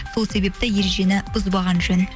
сол себепті ережені бұзбаған жөн